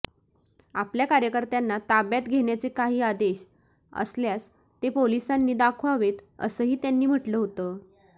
आपल्या कार्यकर्त्यांना ताब्यात घेण्याचे काही आदेश असल्यास ते पोलिसांनी दाखवावेत असंही त्यांनी म्हटलं होतं